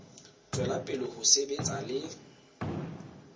tswela pele ho sebetsana le